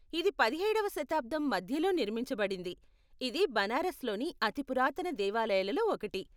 ఇది పదిహేడవ శతాబ్దం మధ్యలో నిర్మించబడింది, ఇది బనారస్లోని అతి పురాతన దేవాలయాలలో ఒకటి.